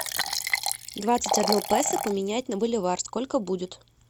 двадцать одно песо поменять на боливар сколько будет